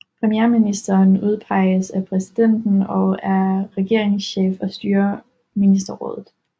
Premierministeren udpeges af præsidenten og er regeringschef og styrer ministerrådet